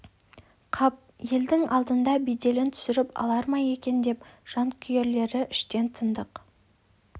қап елдің алдында беделін түсіріп алар ма екен деп жанкүйерлері іштен тындық